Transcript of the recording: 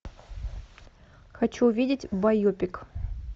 хочу увидеть байопик